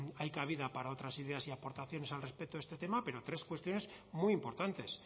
hay cabida para otras ideas y aportaciones al respecto de este tema pero tres cuestiones muy importantes